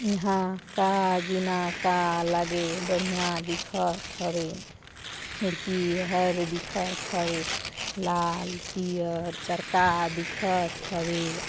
इहा का जीना का लगे बढ़िया दिखत हवे खिड़की हर दिखत हवे लाल पियर चरका दिखत हवे ।